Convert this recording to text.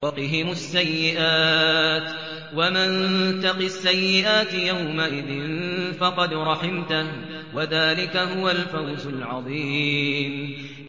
وَقِهِمُ السَّيِّئَاتِ ۚ وَمَن تَقِ السَّيِّئَاتِ يَوْمَئِذٍ فَقَدْ رَحِمْتَهُ ۚ وَذَٰلِكَ هُوَ الْفَوْزُ الْعَظِيمُ